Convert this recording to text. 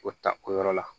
O ta o yɔrɔ la